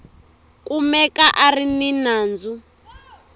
kumeka a ri ni nandzu